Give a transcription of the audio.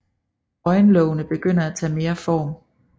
Øjenlågene begynder at tage mere form